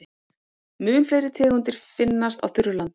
Mun fleiri tegundir finnast á þurru landi.